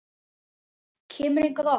Kemurðu hingað oft?